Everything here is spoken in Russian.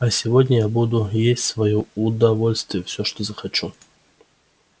а сегодня я буду есть в своё удовольствие всё что захочу